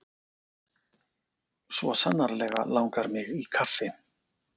Svo sannarlega langar mig í kaffi.